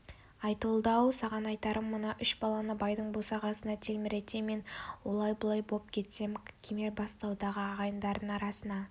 айтолды-ау саған айтарым мына үш баланы байдың босағасына телміртпе мен олай-бұлай боп кетсем кемербастаудағы ағайындардың арасына